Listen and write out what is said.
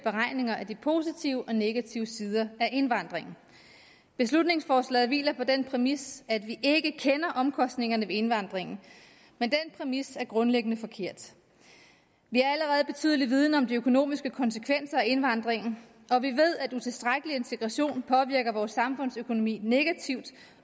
beregninger af de positive og negative sider af indvandringen beslutningsforslaget hviler på den præmis at vi ikke kender omkostningerne ved indvandringen men den præmis er grundlæggende forkert vi har allerede betydelig viden om de økonomiske konsekvenser af indvandringen og vi ved at en utilstrækkelig integration påvirker vores samfundsøkonomi negativt